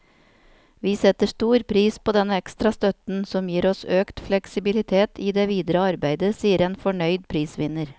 Vi setter stor pris på denne ekstra støtten, som gir oss økt fleksibilitet i det videre arbeidet, sier en fornøyd prisvinner.